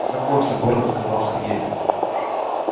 знакомься гордо сказал сергей